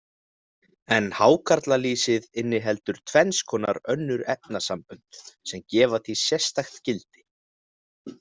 En hákarlalýsið inniheldur tvenns konar önnur efnasambönd, sem gefa því sérstakt gildi.